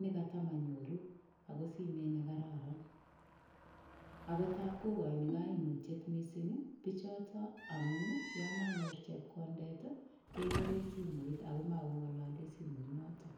nekatamanyoru ako simet nekararan ako taap kokoini kaimutyet mising' bichoto amun yo manyorchingei chepkondet kekere simoit ako makong'olole simoit noto